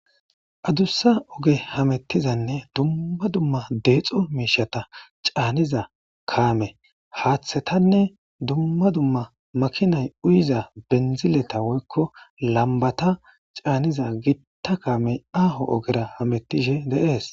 Adussa oge hamettizanne dumma dumma deexo miishata caaniza kaame haaththetanne dumma dumma makinay uyiza benzileta woykko lambata caaniza gitta kaamey aho ogera hamettishe deees.